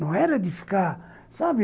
Não era de ficar, sabe?